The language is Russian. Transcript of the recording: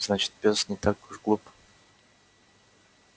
значит пёс не так уж глуп